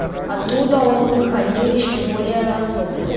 оттуда он выходил ещё более озлобленный